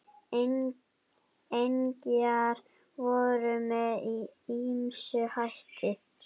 Engjar voru með ýmsum hætti.